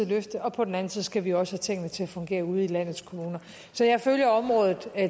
løfte og på den anden side skal vi også have tingene til at fungere ude i landets kommuner så jeg følger området